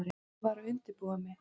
Ég var að undirbúa mig.